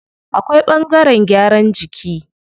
Akwai ɓangaren gyaran jiki.